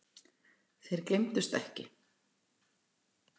Þeir gleymdust ekki.